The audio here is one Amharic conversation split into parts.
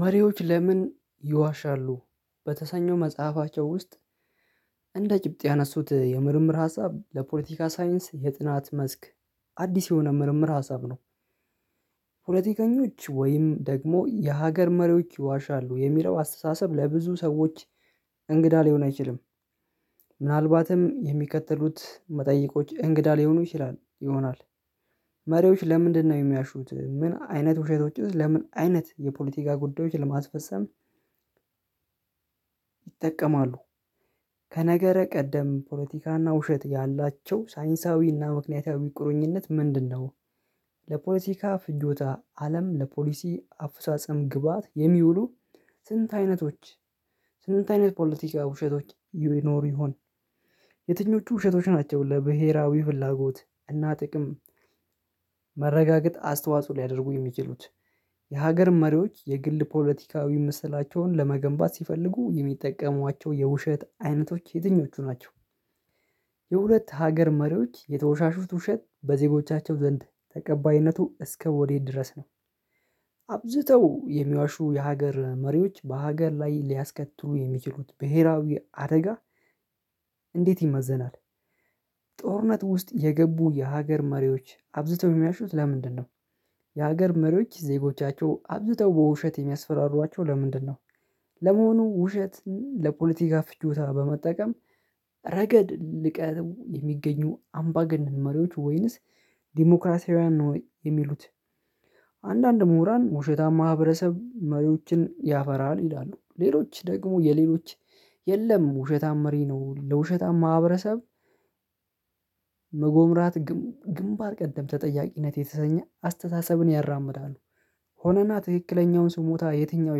መሪዎች ለምን ይዋሻሉ በተሰኘው መጽሐፋቸው ውስጥ እንደ ጭብጥ ያነሱት የምርምር ሀሳብ ለፖለቲካ ሳይንስ የጥናት መስክ አዲስ የሆነ ምርምር ሀሳብ ነው። ፖለቲከኞች ወይም ደግሞ የሀገር መሪዎች ይዋሻሉ የሚለው አስተሳሰብ ለብዙ ሰዎች እንግዳ ሊሆን አይችልም። ምናልባትም የሚከተሉት መጠይቆች እንግዳ ሊሆኑ ይችላል ይሆናል። መሪዎች ለምንድነው የሚይዋሹት ምን አይነት ውሸቶችስ ለምን አይነት የፖለቲካ ጉዳዮች ለማስፈፀም? ይጠቀማሉ መሪዎች ለምንድነው የሚይዋሹት ምን አይነት ውሸቶችስ ለምን አይነት የፖለቲካ ጉዳዮች ለማስፈፀም ይጠቀማሉ? ለፖለቲካ ፍጆታ አለም ለፖሊሲ አፈጻጸም ግባአት የሚውሉ። ስንት አይነቶች ስንት አይነት ፖለቲካ ውሸቶች ይኖሩ ይሆን? የትኞቹ ውሸቶች ናቸው ለብሄራዊ ፍላጎት እና ጥቅም መረጋገጥ አስተዋጽኦ ሊያደርጉ የሚችሉት? የሀገር መሪዎች የግል ፖለቲካዊ ምስላቸውን ለመገንባት ሲፈልጉ የሚጠቀሟቸው የውሸት አይነቶች የትኞቹ ናቸው? የሁለት ሀገር መሪዎች የተወሻሹት ውሸት በዜጎቻቸው ዘንድ ተቀባይነቱ እስከ ወዴት ድረስ ነው? አብዝተው የሚዋሹ የሀገር መሪዎች በሀገር ላይ ሊያስከትሉ የሚችሉት ብሄራዊ አደጋ። እንዴት ይመዘናል? ጦርነት ውስጥ የገቡ የሀገር መሪዎች አብዝተው የሚይዋሹት ለምንድነው? የሀገር መሪዎች ዜጎቻቸው አብዝተው በውሸት የሚያስፈራሯቸው ለምንድነው? ለመሆኑ ውሸትን ለፖለቲካ ፍጆታ በመጠቀም ረገድ ልቀው የሚገኙ አምባገነን መሪዎች ወይንስ ዲሞክራሲያዊና ነው የሚሉት? አንዳንድ ሙሁራን ውሸታማ ማህበረሰብ መሪዎችን ያፈራል ይላሉ። ሌሎች ደግሞ የሌሎች የለም ውሸታማ መሪ ለውሸታማ ማህብረሰብ። መጎምራት ግንባር ቀደም ተጠያቂነት የተሰኘ አስተሳሰብን ያራምዳሉ። ሆነና ትክክለኛውን ስሞታ የትኛው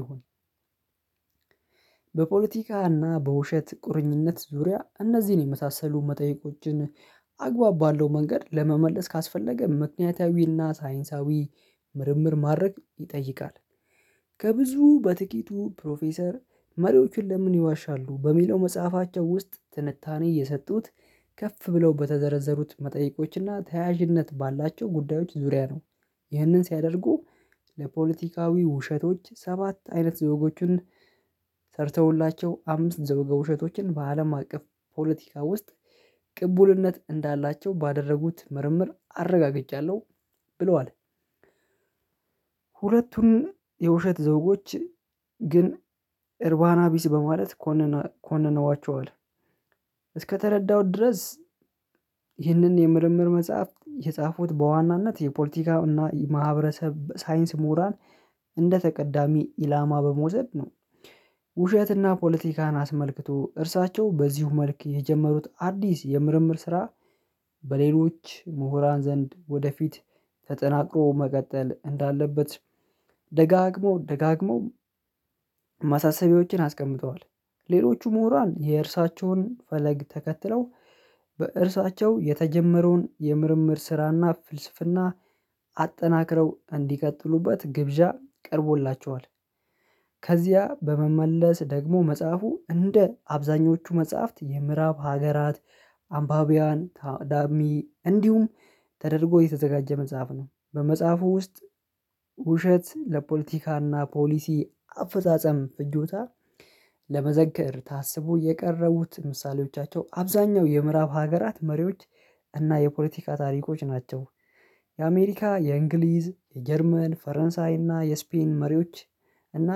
ይሆን? በፖለቲካና በውሸት ቁርኝነት ዙሪያ እነዚህን የመሳሰሉ መጠየቆችን አግባብ ባለው መንገድ ለመመለስ ካስፈለገ ምክንያታዊና ሳይንሳዊ ምርምር ማድረግ ይጠይቃል። ከብዙ በጥቂቱ ፕሮፌሰር መሪዎችን ለምን ይዋሻሉ በሚለው መጽሐፋቸው ውስጥ ትንታኔ የሰጡት ከፍ ብለው በተዘረዘሩት መጠይቆችና ተያያዥነት ባላቸው ጉዳዮች ዙሪያ ነው። ይህንን ሲያደርጉ። ለፖለቲካዊ ውሸቶች ሰባት አይነት ዘወጎቹን ሰርተውላቸው አምስት ዘወገ ውሸቶችን በአለም አቀፍ ፖለቲካ ውስጥ ቅቡልነት እንዳላቸው ባደረጉት ምርምር አረጋግጫለው። ብለዋል። ሁለቱን የውሸት ዘውጎች እርባና ቢስ በማለት ኮነነዋቸዋል። እስከተረዳሁት ድረስ። ይህንን የምርምር መጽሐፍት የጻፉት በዋናነት የፖለቲካ እና የማህበረሰብ ሳይንስ ሙሁራን እንደ ተቀዳሚ ኢላማ በመዉሰድ ነው። ውሸትና ፖለቲካን አስመልክቶ እርሳቸው በዚሁ መልክ የጀመሩት አዲስ የምርምር ስራ። በሌሎች ሙሁራን ዘንድ ወደፊት ተጠናክሮ መቀጠል እንዳለበት። ደጋግመው ደጋግመው አስቀምጠዋል። ሌሎቹ ሙሁራን የእርሳቸውን ፈለግ ተከትለው። በእርሳቸው የተጀመረውን የምርምር ስራና ፍልስፍና። አጠናክረው እንዲቀጥሉበት ግብዣ ቀርቦላቸዋል። ከዚያ በመመለስ ደግሞ መጽሐፉ እንደ አብዛኞቹ መጽሐፍት የምዕራብ ሀገራት አንባቢያን ታዳሚ እንዲሁም ተደርጎ የተዘጋጀ መጽሐፍ ነው። በመጽሐፉ ውስጥ ውሸት ለፖለቲካና ፖሊሲ አፈጻጸም ፍጆታ። ለመዘከር ታስቦ የቀረቡት ምሳሌዎቻቸው አብዛኛው የምዕራብ ሀገራት መሪዎች እና የፖለቲካ ታሪኮች ናቸው። የአሜሪካ የእንግሊዝ የጀርመን ፈረንሳይ እና የስፔን መሪዎች እና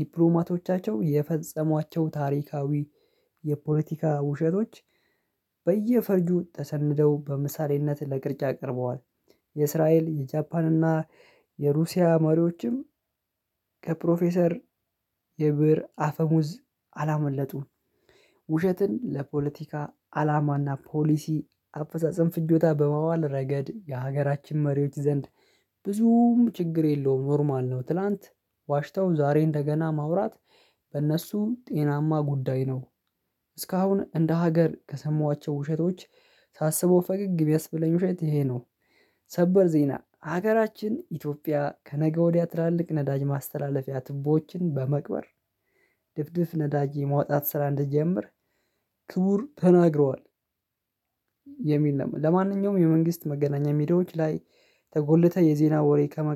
ዲፕሎማቶቻቸው የፈጸሟቸው ታሪካዊ የፖለቲካ ውሸቶች በየፈርጁ ተሰንደው በምሳሌነት ለቅርጫ ቀርበዋል። የእስራኤል የጃፓን እና የሩሲያ መሪዎችም ከፕሮፌሰር የብር አፈሙዝ አላመለጡም። ውሸትን ለፖለቲካ አላማና ፖሊሲ አፈጻጸም ፍጆታ በማዋል ረገድ የሀገራችን መሪዎች ዘንድ ብዙም ችግር የለውም ኖርማል ነው። ትላንት ዋሽታው ዛሬ እንደገና ማውራት በእነሱ ጤናማ ጉዳይ ነው። እስካሁን እንደ ሀገር ከሰማኋቸው ውሸቶች ሳስበው ፈገግ እሚያስብለኝ ውሸት ይሄ ነው። ሰበር ዜና ሀገራችን ኢትዮጵያ ከነገ ወዲያ ትላልቅ ነዳጅ ማስተላለፊያ ትቦዎችን በመቅበር ድፍድፍ ነዳጄ ነማውጣት ስራ እንደጀመር ክቡር ተናግረዋል። የሚል ነው ለማንኛውም የመንግስት መገናኛ ሚዲያዎች ላይ ተጎልተህ የዜና ወሬ ከመቃ